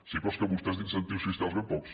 sí però és que vostès d’incentius fiscals ben pocs